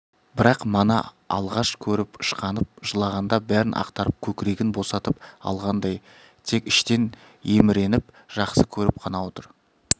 бірақ мана алғаш көріп ышқынып жылағанда бәрін ақтарып көкірегін босатып алғандай тек іштен еміреніп жақсы көріп қана отыр